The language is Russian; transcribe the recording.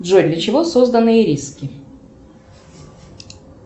джой для чего созданы ириски